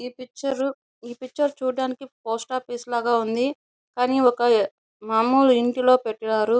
ఈ పిక్చర్ చూడడానికి ఒక పోస్ట్ ఆఫీస్ లాగా ఉంది. కానీ ఒక మాములు ఇంటిలో పెట్టారు.